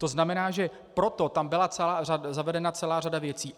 To znamená, že proto tam byla zavedena celá řada věcí.